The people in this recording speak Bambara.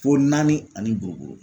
Fo naani ani buruburu